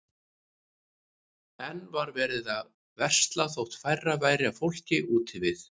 Enn var verið að versla þótt færra væri af fólki úti við.